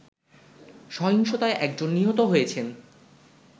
সহিংসতায় একজন নিহত হয়েছেন